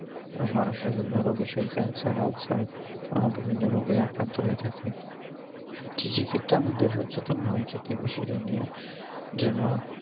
মানুষের বিভিন্ন রোগে শরীর cancer ulcer আহ বিভিন্ন রোগে আক্রান্ত হয়ে থাকে কৃষি ক্ষেত্রে আমাদের হচ্ছে তো নেওয়া উচিত এই বিষয়টা নিয়ে যে না